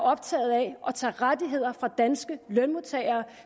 optaget af at tage rettigheder fra danske lønmodtagere